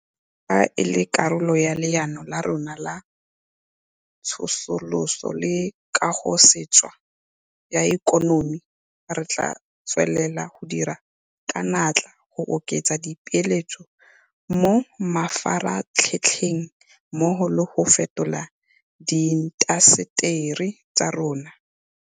Jaaka e le karolo ya Leano la rona la Tsosoloso le Kagosešwa ya Ikonomi, re tla tswelela go dira ka natla go oketsa di peeletso mo mafaratlhatlheng mmogo le go fetola diintaseteri tsa rona.